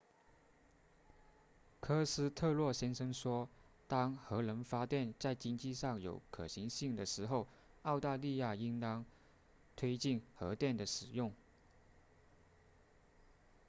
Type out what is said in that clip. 科斯特洛先生说当核能发电在经济上有可行性的时候澳大利亚应当推进核电的使用